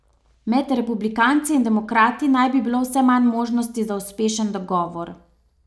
Med republikanci in demokrati naj bi bilo vse manj možnosti za uspešen dogovor.